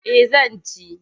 Eh zan ci.